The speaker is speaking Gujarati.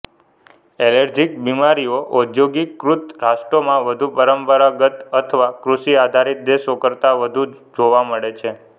એલર્જીક બિમારીઓ ઔદ્યોગિકિકૃત રાષ્ટ્રોમાં વધુ પરંપરાગત અથવા કૃષિ આધારિત દેશો કરતા વધુ જોવા મળે છે